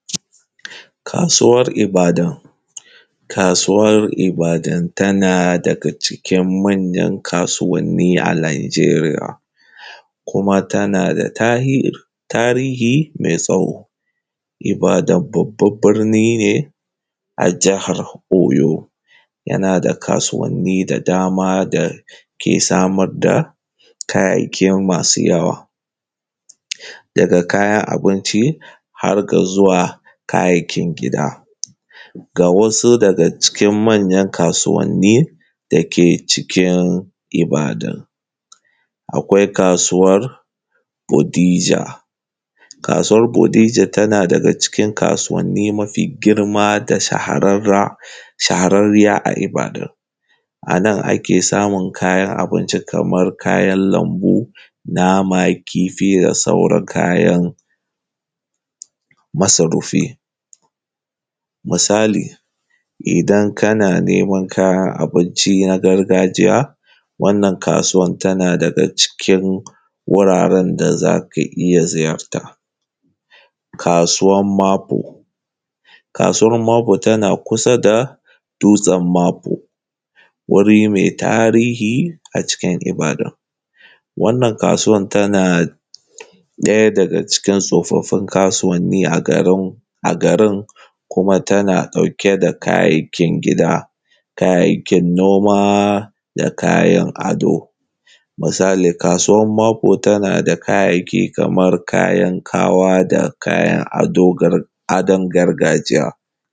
Kasuwar Ibadan. Kasuwar Ibadan tana daga cikin manyan kasuwanni a Lamjeriya, kuma tana da tarihi mai tsawo. Ibadan babban birni ne a Jihar Oyo. Yana da kasuwanni da dama da ke samar da, kayayyaki masu yawa. Daga kayan abinci, har ga zuwa kayayyakin gida. Ga wasu daga cikin manyan kasuwanni da ke cikin Ibadan: Akwai kasuwar Odija. Kasuwar Odija tana daga cikin kasuwanni mafi girma da shahararra shahararriya a Ibadan. A nan ake samun kayan abinci kamar kayan lambu, nama, kifi da sauran kayan, masarufi. Misali, idan kana neman kayan abinci na gargajiya, wannan kasuwan tana daga cikin wuraren da za ka iya ziyarta. Kasuwan Mapo. Kasuwar Mapo tana kusa da, dutsen Mapo, wuri mai tarihi a cikin Ibadan. Wannan kasuwan tana ɗaya daga cikin tsofaffin kasuwanni a garin, kuma tana dauke da kayayyakin gida. Kayayyakin noma da kayan ado, Misali kasuwan Mapo tana da kayayyaki kamar kayan ƙawa da kayan gargajiya.